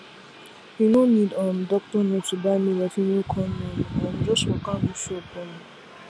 you no need um doctor note to buy male or female condom um just waka go shop um